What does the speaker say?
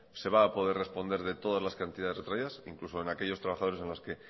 se va a poner responder de todas las cantidades retraídas incluso en aquellos trabajadores en las que